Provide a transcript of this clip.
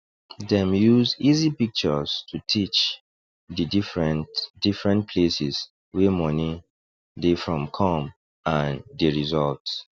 dem use easy pictures to teach di different different places wey money dey from come and di results